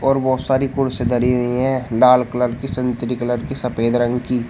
और बहुत सारी कुर्स धरी हुई है लाल कलर की संत्री कलर की सफेद रंग की।